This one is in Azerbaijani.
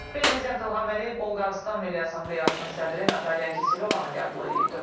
Prezident İlham Əliyev Bolqarıstan Milli Assambleyasının sədri Natalya Kiselovanı qəbul edib.